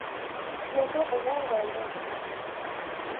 Nyende ũrĩa ngwendete.